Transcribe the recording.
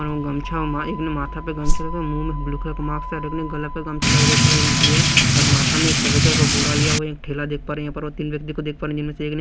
और गमछा एक ने माथा पे गमछा रखा है मुँह में ब्ल्यू कलर का मास्क है और एक ने गला पर गमछा रेड कलर का गमछा लिया हुआ है और माथा में एक सफेद तरह का बोरा लिया हुआ है एक ठेला देख पा रहे हैं यह तीन व्यक्ति को देख पा रही हैं जिसमे से एक ने --